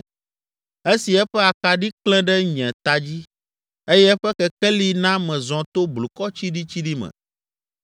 esi eƒe akaɖi klẽ ɖe nye ta dzi eye eƒe kekeli na mezɔ to blukɔ tsiɖitsiɖi me!